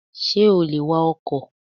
Sé o lè wa ọkò?